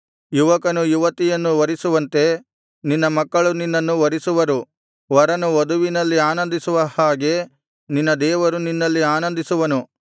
ಯುವಕನು ಯುವತಿಯನ್ನು ವರಿಸುವಂತೆ ನಿನ್ನ ಮಕ್ಕಳು ನಿನ್ನನ್ನು ವರಿಸುವರು ವರನು ವಧುವಿನಲ್ಲಿ ಆನಂದಿಸುವ ಹಾಗೆ ನಿನ್ನ ದೇವರು ನಿನ್ನಲ್ಲಿ ಆನಂದಿಸುವನು